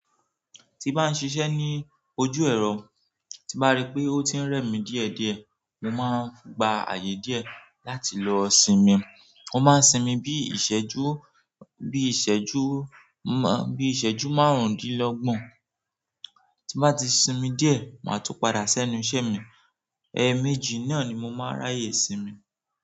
Tí bá n ṣiṣẹ́ ní ojú ẹ̀rọ, tí bá rí pé ó ti ń rẹ̀ mí díẹ̀díẹ̀, mo máa gba ààyè díẹ̀ láti lọ sinmi. Mo maa n simi bi iseju bi iseju marundinlogbon. Tí n bá ti sinmi díẹ̀, màá tun padà sẹ́nu iṣẹ́ mi. Ẹ̀ẹ̀mejì náà ni mo máa ráyè sinmi.